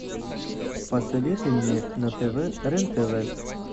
посоветуй мне на тв рен тв